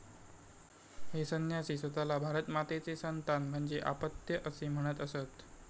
हे संन्यासी स्वतःला भारतमातेचे 'संतान' म्हणजे आपत्य असे म्हणत असत.